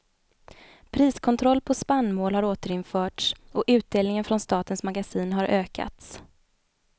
Priskontroll på spannmål har återinförts och utdelningen från statens magasin har ökats.